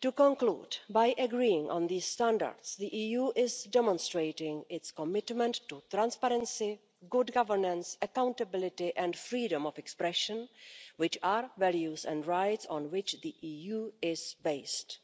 To conclude, by agreeing on these standards the EU is demonstrating its commitment to transparency, good governance, accountability and freedom of expression which are values and rights on which the EU is based,